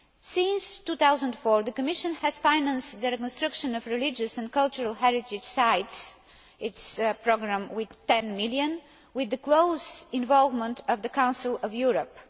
Since 2004, the Commission has financed the reconstruction of religious and cultural heritage sites its programme with a budget of EUR 10 million with the close involvement of the Council of Europe.